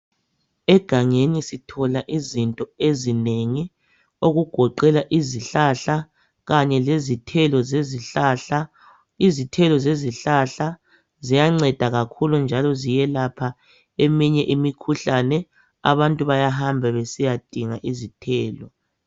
Egangeni sithola izinto ezinengi okugoqela izihlahla kanye lezithelo. Izithelo zezihlahla ziyanceda kakhulu njalo ziyelapha eminye imikhuhlane. Abantu bayahamba besiyadinga izithelo